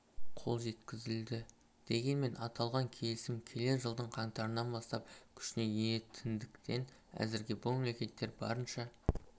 қол жеткізілді дегенмен аталған келісім келер жылдың қаңтарынан бастап күшіне енетіндіктен әзірге бұл мемлекеттер барынша